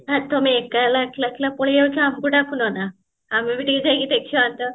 ଆ ତମେ ଏକଲା ଏକଲା ପାଲେଇଯାଉଚ ଆମକୁ ଡାକୁନ ନା ଆମେ ବି ଟିକେ ଯାଇକି ଦେଖି